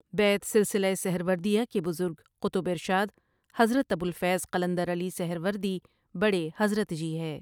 بیعت سلسلہ سہروردیہ کے بزرگ قطب ارشاد حضرت ابوالفیض قلندر علی سہروردیؒ بڑے حضرت جی ہے ۔